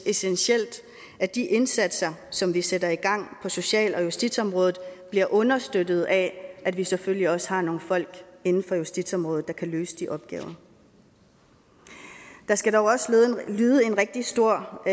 essentielt at de indsatser som vi sætter i gang på social og justitsområdet bliver understøttet af at vi selvfølgelig også har nogle folk inden for justitsområdet der kan løse de opgaver der skal dog også lyde en rigtig stor